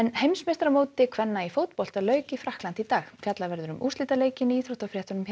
heimsmeistaramóti kvenna í fótbolta lauk í Frakklandi í dag fjallað verður um úrslitaleikinn í íþróttafréttum hér